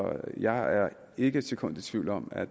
jeg er ikke et sekund i tvivl om at